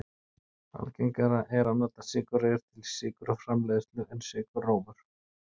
Algengara er að nota sykurreyr til sykurframleiðslu en sykurrófur.